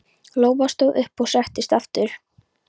Lóa stóð upp og settist aftur.